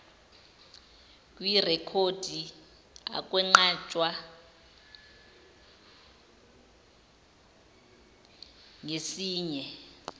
kwirekhodi akwenqatshwa ngesinye